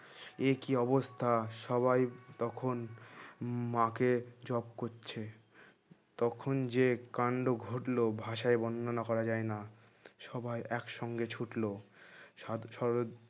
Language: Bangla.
একি অবস্থা সবাই তখন মাকে জব করছে তখন যে কান্ড ঘটলো ভাষায় বর্ণনা করা যায় না সবাই একসঙ্গে ছুটলো সাদ সরোদ